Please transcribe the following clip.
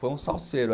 Foi um salseiro.